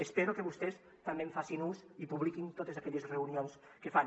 espero que vostès també en facin ús i publiquin totes aquelles reunions que fan